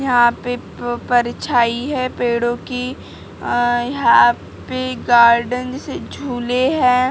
यहां पे प परछाई है पेड़ों की अ यहां पे गार्डन स झूले हैं।